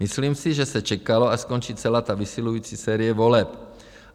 Myslím si, že se čekalo, až skončí celá ta vysilující série voleb.